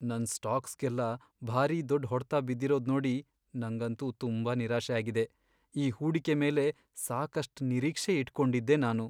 ನನ್ ಸ್ಟಾಕ್ಸ್ಗೆಲ್ಲ ಭಾರೀ ದೊಡ್ಡ್ ಹೊಡ್ತ ಬಿದ್ದಿರೋದ್ ನೋಡಿ ನಂಗಂತೂ ತುಂಬಾ ನಿರಾಶೆ ಆಗಿದೆ. ಈ ಹೂಡಿಕೆ ಮೇಲೆ ಸಾಕಷ್ಟ್ ನಿರೀಕ್ಷೆ ಇಟ್ಕೊಂಡಿದ್ದೆ ನಾನು.